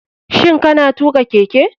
Shin kana tuka keke.